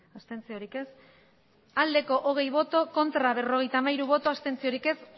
abstentzioa hogei bai berrogeita hamairu ez